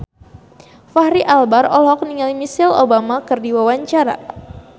Fachri Albar olohok ningali Michelle Obama keur diwawancara